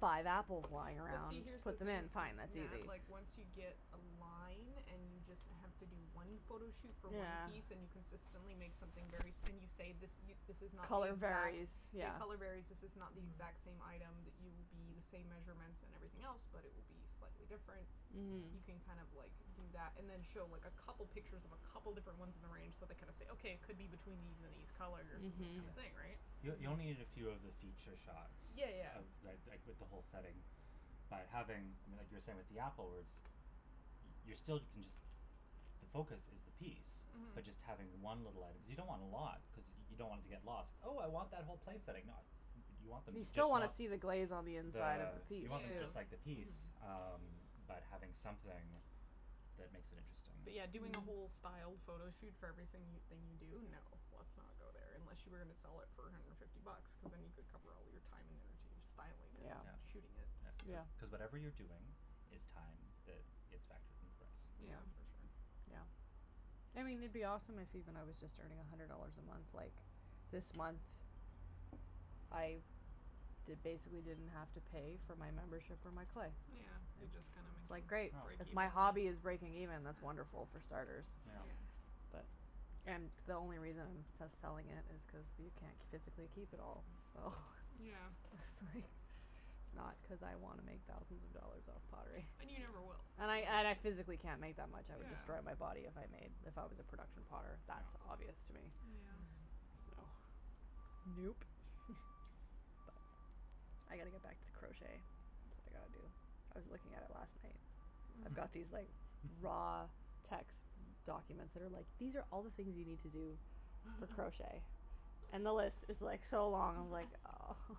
five apples lying But around, see, here's just the put them thing, in, N- fine, that's Nat, easy. like once you get a line, and you just have to do one photo shoot for one piece and you Yeah. consistently make something very s- and you say this y- this is not the Color exact, varies. yeah, Yeah. color varies This is not the Mhm. exact same item that you will be, the same measurements and everything else but it will be slightly different. You Mhm. can Yeah. kind of like, do that, and then show like a couple pictures of a couple different ones in the range, so they kind of say "Okay, it could be between these and these colors and this Mhm. Yeah. kinda thing," right? Y- you only need a Mhm. few of the feature shots Yeah, yeah, of yeah. the, th- like with the whole setting. By having, I mean like you were saying with the apple words y- you're still, can just the focus is the piece. Mhm. But just having one little item, cuz you don't want a lot cuz y- you don't want it to get lost. "Oh I want that whole place setting." Nah, y- you want them You to just still wanna want see the glaze on the inside of the, the piece, you want them just Yeah. too. like the piece. Mhm. Um, but having something that makes it interesting. But yeah, doing a whole styled photo shoot for every sing- thing you do? No. Let's not go there, unless you were gonna sell it for a hundred and fifty bucks. Cuz then you could cover all of your time and energy of styling it Yeah. and Yeah. shooting it. That's cuz Yeah. cuz whatever you're doing is time that gets factored in the price. Yeah. Yeah, for sure. Yeah. I mean it'd be awesome if even I was just earning a hundred dollars a month, like This month I d- basically didn't have to pay for my membership for my clay. Yeah, you just kinda It's like, making, great, break Oh. if even. my hobby is breaking Yeah. even, that's wonderful, for starters. Yeah. And the only reason to selling it is cause you c- physically keep it all. So Yeah. it's like, it's not cuz I wanna make thousands of dollars off pottery. And you never will. And I, and I physically can't make that much, I would destroy Yeah. my body if I made, if I was a production potter. That's Yeah. obvious to me. Yeah. Mm. So Nope. But, I gotta get back to crochet, that's what I gotta do. I was looking at it last night, I've got Mhm. these like, raw text documents that are like, "these are all the things you need to do for crochet." And the list is like, so long, I'm like, oh.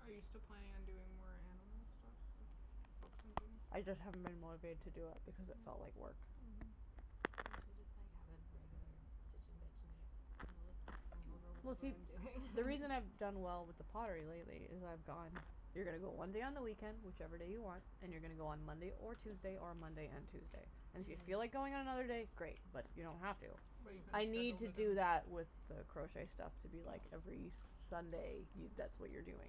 Are you still planning on doing more animal stuff? Like, books and things? I just haven't been motivated to do it because it felt Mm. like work. Mhm. You should just like have a regular stitch and bitch night. And I'll just bring over Well whatever see, I'm doing. the reason I've done well with the pottery lately is I've gone You're gonna go one day on the weekend, whichever day you want. And you're gonna go on Monday or Tuesday, or Monday and Tuesday. And if you feel like Mhm. going on another day, great, but you don't have to. But you kinda Mhm. I need scheduled to it do in. that with the crochet stuff to be like, Oh. every Sunday. You, that's what you're doing.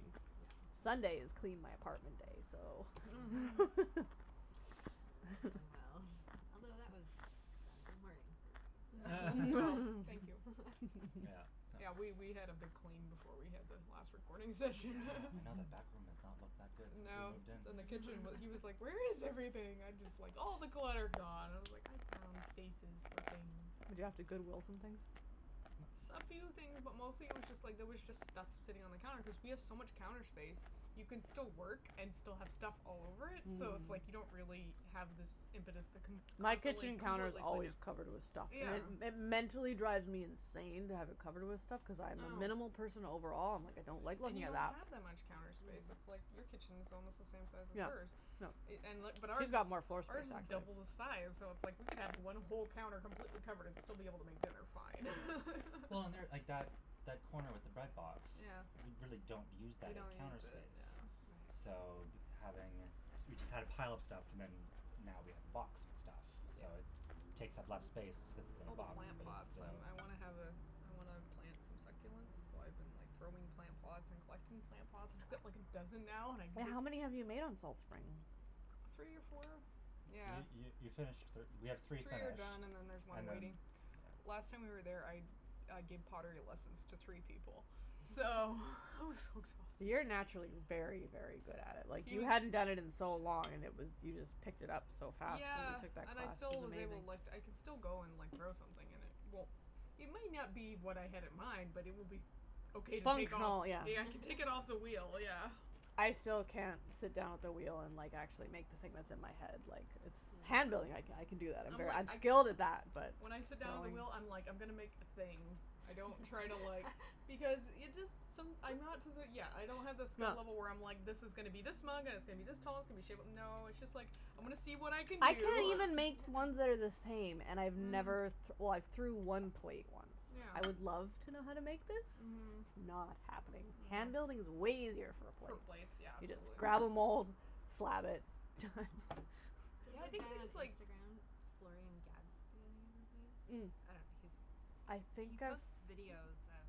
Sunday is clean my apartment day, so That went really well, although that was Saturday morning for me, so Well, thank you. Yeah, Yeah, that was we we had a big clean before we had the last recording session. Yeah, I know that back room has not looked that good since we No. moved in. Then the kitchen w- he was like, "Where is everything?" I'm just like, "All the clutter gone" and I was like, "I found places for things." Did you have to Goodwill some things? No. S- a few things, but mostly it was just like, there was just stuff sitting on the counter cuz we have so much counter space. You can still work and still have stuff all over it, so it's like Mm. you don't really have this impetus to con- My constantly kitchen counter's completely clean always it. covered with stuff. And Yeah. Yeah. it it mentally drives me insane to have it covered with stuff. Cuz I I am a know. minimal person overall, I'm like, I don't like And looking you at don't that. have that much counter space, it's like your kitchen's almost the same size as Yeah. hers No. i- and li- but ours Who's is got more floor space ours is actually. double the size, so it's like we could have one whole counter completely covered and still be able to make dinner fine. Well and there, like that that corner with the bread box Yeah. we really don't use We that as don't counter use it, yeah. space. So, d- having, we just had a pile of stuff and then now we have the box with stuff. Yeah. So it takes up less space cuz it's It's in all a the box, plant but it's that's um, still I wanna have a I wanna plant some succulents, so I've been like, throwing plant pots and collecting plant pots. I got like a dozen now and I Wait, how many have you made on Salt Spring? Three or four? Yeah. You you you finished thir- we have Three three are finished done and then there's one and then, waiting. Last time we were yeah. there, I I gave pottery lessons to three people, so it was so You're exhausting. naturally very, very good at it. Like, He you was hadn't done it in so long and it was you just picked it up so fast when Yeah, you took that and I class. It still was was able, like, amazing. I can still go and, like, throw something and it won't It may not be what I had in mind, but it will be okay to take off. Functional, yeah. Yeah, I can take it off the wheel, yeah. I still can't sit down at the wheel and, like, actually make the thing that's in my head, like, it's Handling, I I can do that, I'm I'm ver- like, I'm I skilled guilded at that, that. but When I sit down at the wheel, I'm like, I'm gonna make a thing. I don't try to, like Because it just, som- I'm not to the, yeah, I don't have the skill level where I'm like this is gonna be this mug and it's gonna be this tall, it's going to be shape no, it's just like I'm gonna see what I can I can't do. even make ones that are the same, and I've never th- Mhm. well, I've threw Mhm. one plate once. I would love Yeah. to know how to make this. Mhm. It's not happening. I know. Hand building is way easier for a For plate. plates, yeah, You just absolutely. grab a mould, slab it, done. Yeah, There's I a think it guy it on was like Instagram, Floren Gatzby, I think is his Mm. name. I Mm. don't know, he's I he think I've posts videos of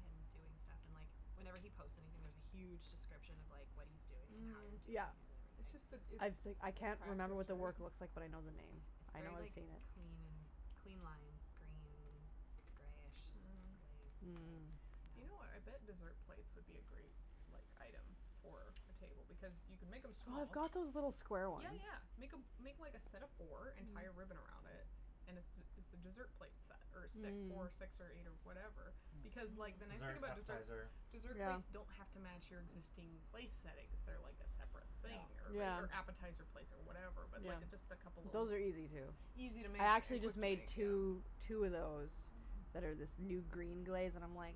him doing stuff and, like, whenever he posts anything, there's a huge description of, like, what he's doing and how he's Mhm. doing Yeah. it and It's just the everything. it's I've s- practice, I can't remember what the work looks like, but I right? know the name. It's I know very, I've like, seen it. clean and clean lines, green greyish Mhm. glaze, like, You Mm. know what, I bet yeah. dessert plates would be a great, like, item for a table because you can make them small. I've got those little square ones. Yeah, yeah, make a make like a set of four and tie a ribbon around it and it's it's a dessert plate set or si- Mm. four, six or eight or whatever because, like, the Mm, nice thing dessert, Mhm. about deser- appetizer. dessert plates don't Yeah. have to match your existing place settings. They're like a separate Yeah. thing or right Yeah. or appetizer plates or whatever but, Yeah. like, just a couple of l- Those are easy, too. Easy to make I actually and quick just to make made two two of those that are this new green glaze and I'm, like,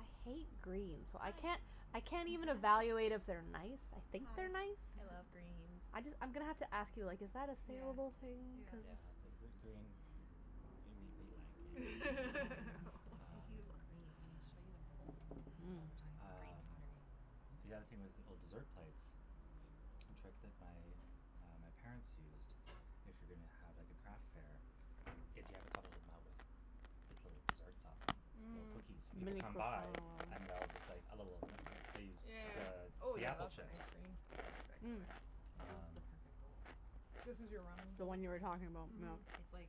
I hate green, so I can't I I can't even evaluate if they're nice. I think they're nice. I just I'm gonna have to ask you, like is that a salable thing cuz Yeah, type gr- green, we we like it. Speaking of Um. green, I'll show you the bowl, Mm. while we're talking about green Um, pottery. the other thing was little dessert plates. A trick that my, uh, my parents used, if you're gonna have like a craft fair, is you have a couple of them out with little desserts on them or Mhm. cookies. People come by and they'll just like a little b- they use the Yeah. Oh, the yeah, apple that's a chips. nice green. I like that Mm. color. This is Um the perfect bowl. This is your ramen The bowl? one you were talking about, yeah. Mhm. Yes. It's, like,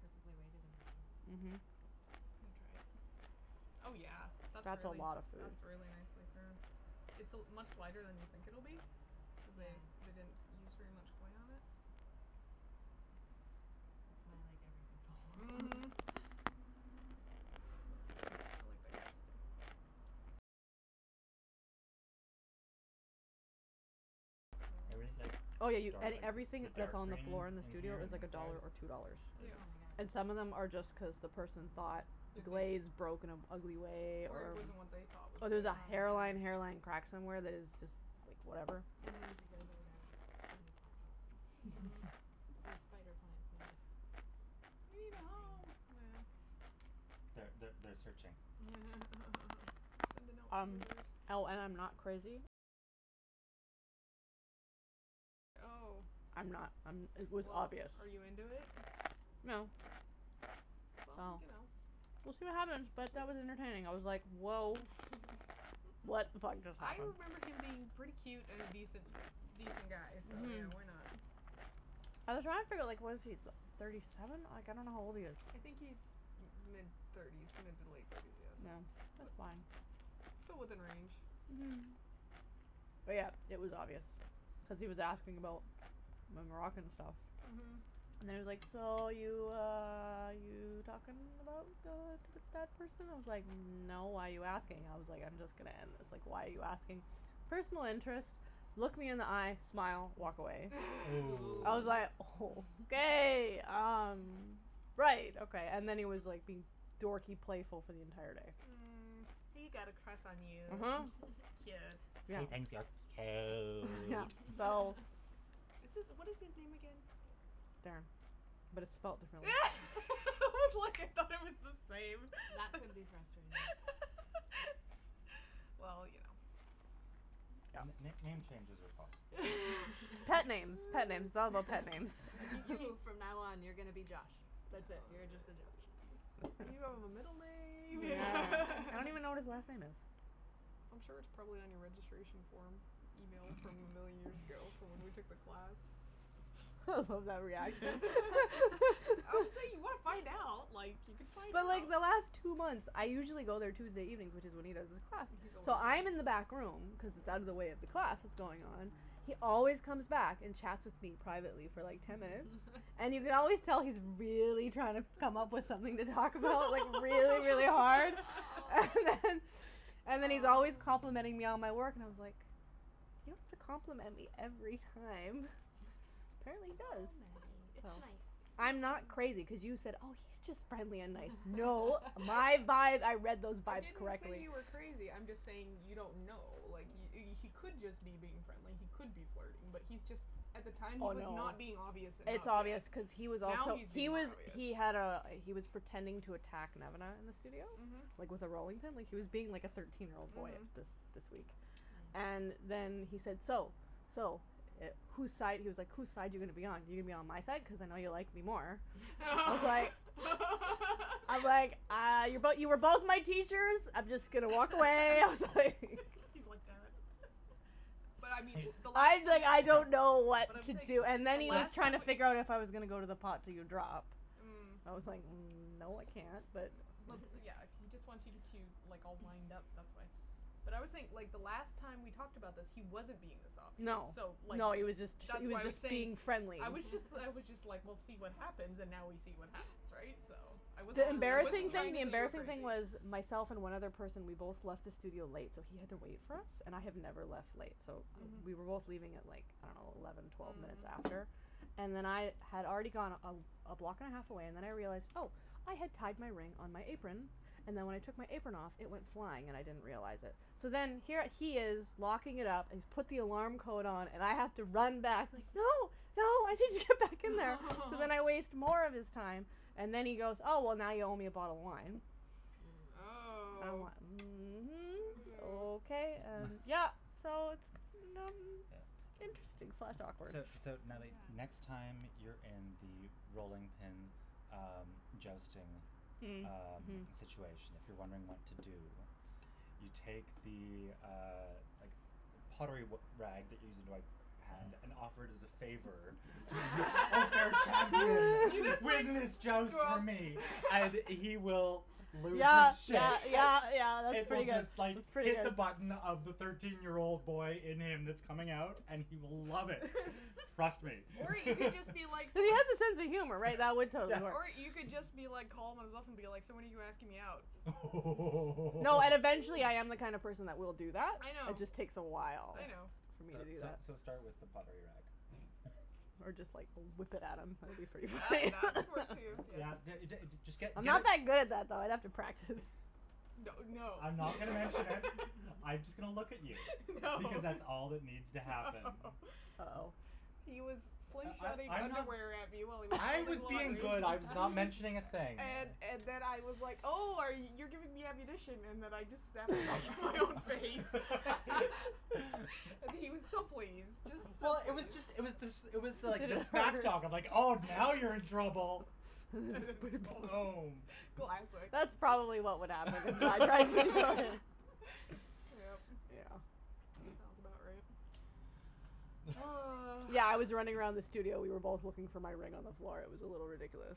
perfectly weighted in my Mhm. hand. Let me try it. Oh, yeah, that's That's a really lotta food. that's really nicely thrown. It's a much lighter than you think it'll be cuz Yeah. they they didn't use very much clay on it. It's my, like, everything Mhm. bowl. That's a good one. I like that glaze, too. Everything's like Oh, yeah, y- dark, a- like everything the that's dark on the green floor in the in in studio here is on the like a inside dollar or two dollars. Yeah. Oh, is And some of them my god. are just cuz the person thought the glaze broke in an ugly way Or it or wasn't what they thought was or good. there's a Oh, hairline my hairline crack god. somewhere that is just, like, whatever. I need to Mhm. go there now. I need plant pots. Mhm. Those spider plants need They need a a home, thing. yeah. Th- th- they're searching. Sending out Um, feelers. oh, and I'm not crazy. I'm not I'm it was Well, obvious. are you into it? No. Well, Well, you know, we'll it's see like what happens, but that was entertaining. I was like, woah. What the fuck just I happened. remember him being pretty cute and an a decent, a decent guy so, Mhm. yeah, why not? I was trying to figure out, like, what is he, thirty seven? Like, I don't know how old he is. I think he's mid thirties, mid to late thirties, yes, Yeah, that's but fine. still within range. Mhm. But, yeah, it was obvious cuz he was asking about my Moroccan stuff. Mhm. And he was like, so, you, uh, you talking about, uh, that person? I was like, no, why are you asking? I was like, I'm just gonna end this. Like, why are you asking? Personal interest, look me in the eye, smile, walk away. Ooh. I was like, Ooh. okay, um, right, okay. And then he was being like dorky playful for the entire day. Mm. He got a crush on you. uh-huh. Cute. Yeah. He thinks you're Yeah, cute. so It's it's what is his name again? Darren, but it's spelled differently. I was like, I thought it was the same. That could be frustrating. Well, you know. N- n- Yeah. name changes are possible. Pet names, pet names, all about pet names. Yeah, he seems You, from now on, you're gonna be Josh. That's it, you're just a Josh. You don't have a middle name Yeah. I don't even know what his last name is. I'm sure it's probably on your registration form email from a million years ago from when we took the class. I love that reaction. Obviously if you want to find out, like, you could find But, out. like, the last two months, I usually go there Tuesday evenings, which is when he does his class, He's always so there. I'm in the back room cuz it's out of the way of the Yeah. class that's going on, he always comes back and chats with me privately for like ten minutes, and you can always tell he's really trying to come up with something to talk about, like, really, really hard. And then and then he's always Oh. complimenting me on my Oh. work and I was like, you don't have to compliment me every time. Oh, Apparently he does. Oh, Nattie, it's Nattie, it's nice. nice. I'm not crazy, cuz you said, oh, he's just friendly and nice. No, my vibe, I read those I vibes didn't say correctly. you were crazy, I'm just saying you don't know. Like, he he could just be being friendly, he could be flirting, but he's just, at the time he Oh, was no. not being obvious enough It's yet. obvious cuz he was Now also he's He being more was obvious. he had a he was pretending to attack Nemana in the studio, Mhm. like, with a rolling pin. Like, he was being like a thirteen year old boy Mhm. this this week. And then he said, "So, so, who's side," he was like, who's side you gonna be on? You going to be on my side, cuz I know you like me more. I was like I was like, uh, but you were both my teachers. I'm just going to walk away. I was like He's like, damn it. But I mean He- the last time that okay, I don't know so what But I'm to saying do. so And then the he was last trying time to just figure out if I was gonna go to the pot to do drop. Mm. I was like, no, I No, can't, but but, yeah, he just wants to get you, like, all wind up, that's why. But I always think the last time we talked about this, he wasn't being this obvious No, so, like, no, he was just that's he why was I was just saying, being friendly. I was just I was just like, we'll see what happens, and now we see what happens, right, so I wasn't The Now embarrassing trying thing to the we know. say you were embarrassing thing crazy. was myself and one other person, we both left the studio late, so he had to wait for us. And I have never left late, so we were both Mhm. Mhm. leaving at, like, I don't know, eleven, twelve minutes after Mhm. and then I had already gone a a block and a half away and then I realized, oh, I had tied my ring on my apron and then when I took my apron off, it went flying and I didn't realize it. So then here he is locking it up and he's put the alarm code on and I have to run back. No, no, I need to get back in there! So then I waste more of his time and then he goes, oh, well, now you owe me a bottle of wine. Mm. I'm Oh. like, I mhm, don't okay, know. and yeah, so it's Yeah. interesting slash awkward. So so, Natalie, next Yeah. time you're in the rolling pin, um, jousting, Mm. um, Mhm. situation, if you're wondering what to do, you take the, uh, like, pottery r- rag that you use to wipe your hand and offer it as a favor to the unfair You champion. just Leave like him his joust for me and he will lose Yeah, his yeah, shit. yeah, yeah, that's It will pretty good. just, That's like, pretty hit the good. button of the thirteen year old boy in him that's coming out and he will love it. Trust me. Or you can just be like s- He has a sense of humor, right? That would Yeah. totally work. Or you could just be like calm and stuff and be like, so when are you asking me out? Oh! No, and eventually I am the kind of person that will do that. I It know. just takes a while I know. for me So to do so that. so start with the pottery rag. Or just, like, whip it at him. That would be pretty That funny. that could work, too, yes. Yeah, d- d- just get I'm not get that good at that, though. I'd have to practice. That would no. I'm not gonna mention it. I'm just going to look at you No. because that's all that needs to happen. No. Oh. He was I slingshotting I I'm not underwear at me while he was I throwing was being pottery. good. I was not He mentioning a was thing. And and then I was like, oh, are y- you're giving me ammunition and then I just snapped it back in my own face. And he was so pleased, just so Well, it was pleased. just it was this it was like the smack talk of, like, oh, now you're in trouble. Boom. Classic. That's probably what would happen if I tried to go in. Yep. Yeah. Sounds about right. Oh. Yeah, I was running around the studio. We were both looking for my ring on the floor. It was a little ridiculous.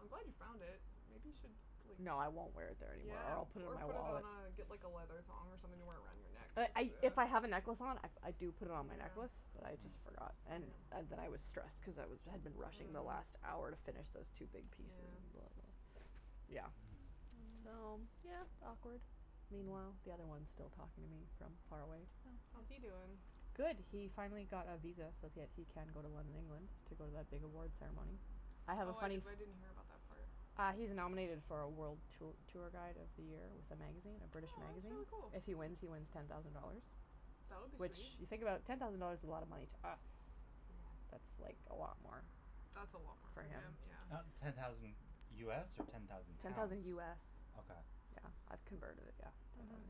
I'm glad you found it. Maybe you should, like No, I won't wear it there anymore or Yeah, I'll put it in or my put it on wallet. a, get like a leather thong or something to wear it around your neck. But I if I have a necklace on, I do put it on my necklace, but I Yeah. just Mhm. forgot. And and then I was stressed because I had been rushing the last hour to Mm. finish those two big pieces. Yeah. Yeah. Hmm. So, Mm. yeah, awkward. Meanwhile, the other one's still talking to me from far away. How's he doing? Good. He finally got a visa so that he can go to London, England to go to that big awards ceremony. I have a Oh, I funny f- didn't hear about that part. Uh he's nominated for a world t- tour guide of the year. It's a magazine, a British magazine. Oh, If that's he really wins, cool. he wins ten thousand dollars. That would be Which, sweet. you think about it, ten thousand dollars is a lot of money to us. Yeah. That's like a lot more That's a lot more for for him, him. Uh yeah. ten thousand US or ten thousand Ten thousand pounds? US. Okay. Yeah, I've converted it, yeah. Mhm.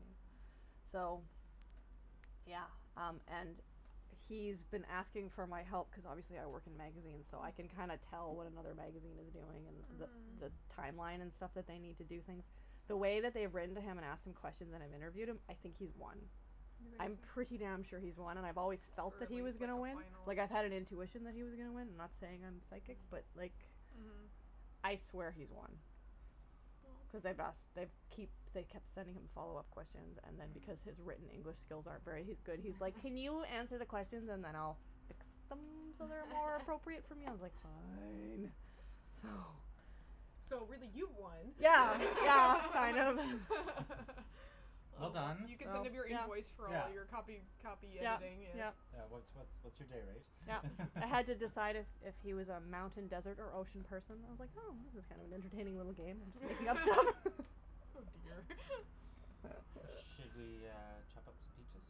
So, yeah, um, and he's been asking for my help cuz obviously I work in magazines, so I can kinda Mm. tell what another magazine is doing and the the Mhm. timeline and stuff that they need to do things. The way that they've written to him and asked him questions and I've interviewed him, I think he's won. You I'm pretty think so? damn sure he's won, and I've always Or felt that at he was least like gonna a win. Like, I had an finalist. intuition that he was gonna win. I'm not saying I'm psychic, but like Mhm. I swear he's won cuz they've asked Well they keep they kept sending him follow up questions and then because his Mm. written English skills aren't very good, he's like, can you answer the questions and then I'll fix them so they're more appropriate for me? I was like, fine. So So, really, you won. Yeah, yeah, I know. Well done. You could send him your invoice for all your copy Yeah. copy Yeah, editing, yes. yeah. Yeah, what's what's what's your day rate Yeah. I had to decide if if he was a mountain, desert or ocean person. I was like, oh, this is kind of an entertaining little game. Oh, dear. Should we, uh, chop up some peaches?